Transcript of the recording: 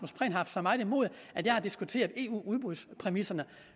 så meget imod at jeg har diskuteret eu udbudspræmisserne